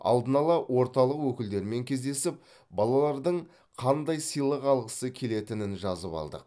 алдын ала орталық өкілдерімен кездесіп балалардың қандай сыйлық алғысы келетінін жазып алдық